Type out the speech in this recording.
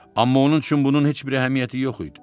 Amma onun üçün bunun heç bir əhəmiyyəti yox idi.